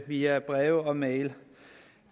via breve og mail